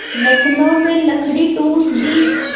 नथनों में लकड़ी ठूँस दी